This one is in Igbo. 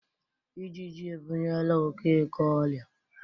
Ijiji ebunyela Okeke oria.